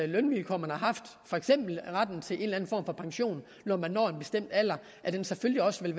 lønvilkår man har haft for eksempel retten til en eller for pension når man når en bestemt alder selvfølgelig også vil